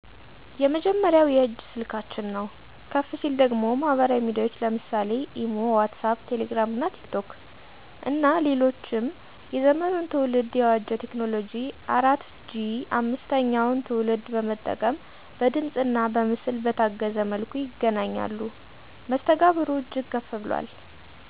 የመጀመሪያው የእጅ ስልካችን ነው። ከፍ ሲል ደግሞ ማህበራዊ ሚዲያዎች ለምሳሌ (ኢሞ ዋትስአፕ ቴሌግራም እና ቲክቶክ ) እና ሌሎችም የዘመኑን ትውልድ የዋጀ ቴክኖሎጂ 4 ጂ 5ተኛውን ትውልድ በመጠቀም በድምፅእና በምስል በታገዘ መልኩ ይገናኛሉ። መስተጋብሩ እጅግ ከፍ ብሏል